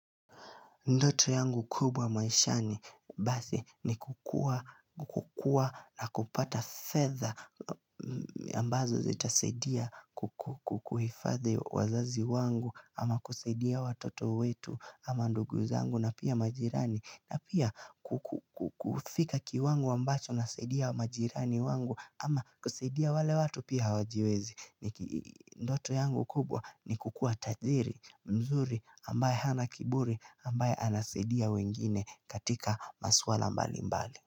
Ndoto yangu kubwa maishani basi ni kukuwa kukua na kupata fedha ambazo zita saidia kukuhifadhi wazazi wangu ama kusadia watoto wetu ama ndugu zangu na pia majirani na pia kufika kiwango ambacho na saidia majirani wangu ama kusaidia wale watu pia hajiwezi. Ndoto yangu kubwa ni kukuwa tajiri mzuri ambaye hana kiburi ambaye anasidia wengine katika maswala mbali mbali.